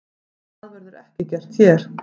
Það verður ekki gert hér.